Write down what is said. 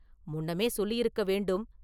முன்னமே சொல்லியிருக்க வேண்டும்.